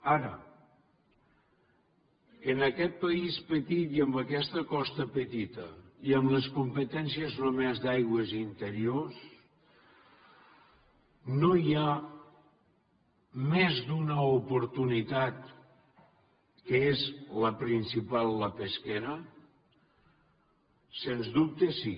ara en aquest país petit i amb aquesta costa petita i amb les competències només d’aigües interiors no hi ha més d’una oportunitat que és la principal la pesquera sens dubte sí